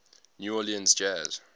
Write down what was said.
new orleans jazz